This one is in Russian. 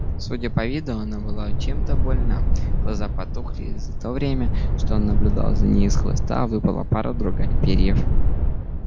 судя по виду она была чем-то больна глаза потухли и за то время что он наблюдал за ней из хвоста выпала пара-другая перьев